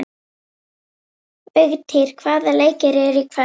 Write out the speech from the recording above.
Vigtýr, hvaða leikir eru í kvöld?